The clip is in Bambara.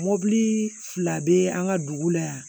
Mɔbili fila bɛ an ka dugu la yan